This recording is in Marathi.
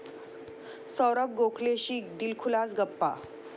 साैरभ गोखलेशी दिलखुलास गप्पा